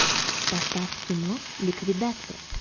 поставь кино ликвидация